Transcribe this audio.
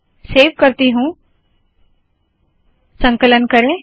save करती हूँ संकलन करे